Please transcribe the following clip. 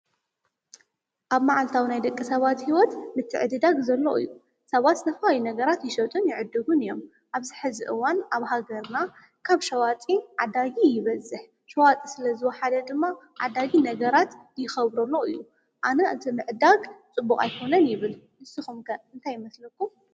አብ መዓልታዊ ናይ ደቂ ሰባት ሂወት ምትዕድዳግ ዘሎ እዩ። ሰባት ዝተፈላለዩ ነገራት ይሸጡን ይዕድጉን እዮም። አብዚ ሐዚ እዋን አብ ሃገርና ካብ ሸዋጢ ዓዳጊ ይበዝሕ። ሸዋጢ ስለዝወሓደ ድማ ዓዳጊ ነገራት ይከብሮ አሎ እዩ። አነ እቲ ምዕዳግ ፅቡቅ አይኮነን ይብል። ንስኩም ከ እንታይ ይመስለኩም ?